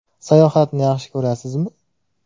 Sayohatni yaxshi ko‘rasizmi?